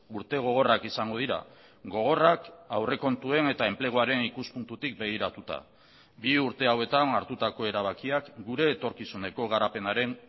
urte gogorrak izango dira gogorrak aurrekontuen eta enpleguaren ikuspuntutik begiratuta bi urte hauetan hartutako erabakiak gure etorkizuneko garapenaren